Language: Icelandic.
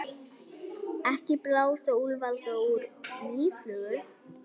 Ekki blása úlfalda úr mýflugu